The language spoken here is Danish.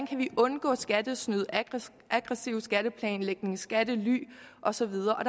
kan undgå skattesnyd aggressiv skatteplanlægning skattely og så videre og